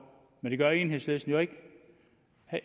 men det gør enhedslisten jo ikke